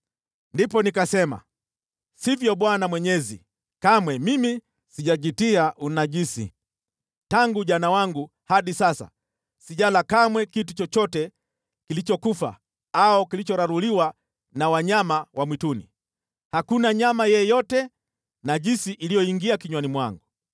Ndipo nikasema, “Sivyo Bwana Mwenyezi! Kamwe mimi sijajitia unajisi. Tangu ujana wangu hadi sasa sijala kamwe kitu chochote kilichokufa au kilichoraruliwa na wanyama wa mwituni. Hakuna nyama yeyote najisi iliyoingia kinywani mwangu.”